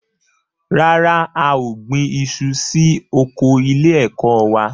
Rárá, a ò gbin iṣu sí oko ilé-ẹ̀kọ́ wa.